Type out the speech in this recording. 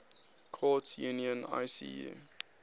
courts union icu